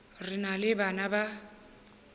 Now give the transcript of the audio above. re na le bana ba